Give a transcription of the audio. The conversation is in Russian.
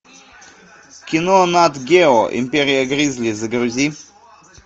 кино нат гео империя гризли загрузи